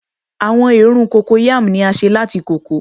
Awọn eerun Cocoyam ni a ṣe lati koko